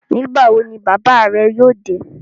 Nígbà wo ni bàbáà rẹ yóò dé?